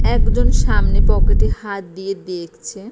একজন সামনে পকেটে হাত দিয়ে দেখছে।